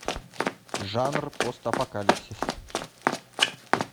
жанр постапокалипсис